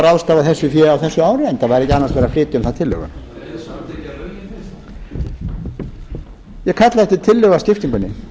ráðstafa þessu fé á þessu ári enda væri ekki annars verið að flytja um það tillögu ég kalla eftir tillögu að skiptingunni